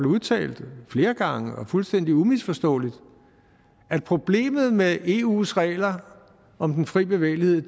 udtalt flere gange og fuldstændig umisforståeligt at problemet med eus regler om den frie bevægelighed